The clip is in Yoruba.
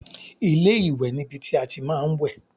Ilé-ìwẹ̀ ni ibi tí a ti máa ń wẹ̀